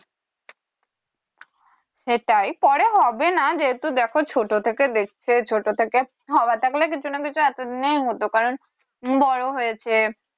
সেটাই পরে হবে না যেহেতু দেখো ছোট থেকে দেখছে ছোট থেকে হওয়ার থাকলে কিছু না কিছু এতোদিনে হতো কারণ বড় হয়েছে